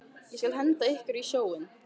Ég skal henda ykkur öllum í sjóinn!